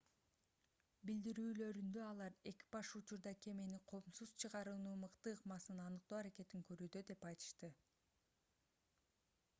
билдирүүлөрүндө алар экипаж учурда кемени коопсуз чыгаруунун мыкты ыкмасын аныктоо аракетин көрүүдө деп айтышты